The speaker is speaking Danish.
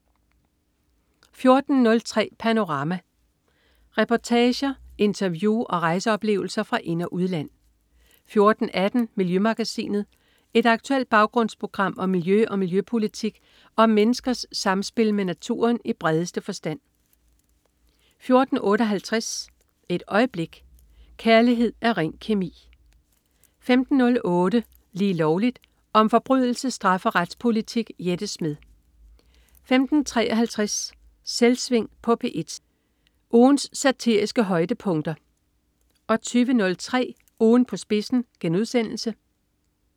14.03 Panorama. Reportager, interview og rejseoplevelser fra ind- og udland 14.18 Miljømagasinet. Et aktuelt baggrundsprogram om miljø og miljøpolitik og om menneskers samspil med naturen i bredeste forstand 14.58 Et øjeblik. Kærlighed er ren kemi! 15.08 Lige Lovligt. Om forbrydelse, straf og retspolitik. Jette Smed 15.53 Selvsving på P1. Ugens satiriske højdepunkter 20.03 Ugen på spidsen*